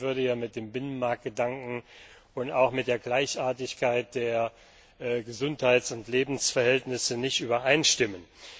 Das würde mit dem Binnenmarktgedanken und auch mit der Gleichartigkeit der Gesundheits und Lebensverhältnisse nicht übereinstimmen.